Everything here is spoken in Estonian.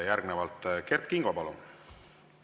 Järgnevalt Kert Kingo, palun!